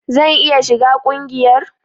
Zan iya shiga kungiyar?